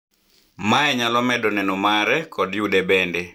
mae nyalo medo neno mare kod yude benbe